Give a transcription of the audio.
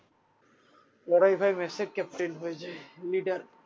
ওরাই ভাই মেসের captain হয়ে যাই leader